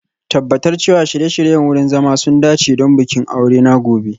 Tabbatar cewa shirye-shiryen wurin zama sun dace don bikin aure na gobe